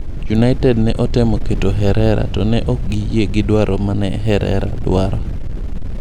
United ne otemo keto Herrera to ne ok giyie gi dwaro mane herrera dwaro.